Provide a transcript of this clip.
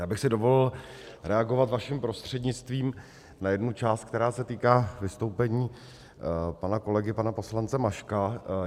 Já bych si dovolil reagovat vaším prostřednictvím na jednu část, která se týká vystoupení pana kolegy, pana poslance Maška.